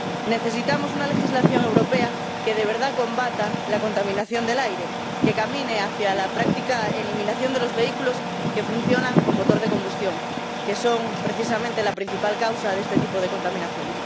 Necesitamos una legislación europea que de verdad combata la contaminación del aire, que camine hacia la práctica eliminación de los vehículos que funcionan con motor de combustión, que son, precisamente, la principal causa de este tipo de contaminación.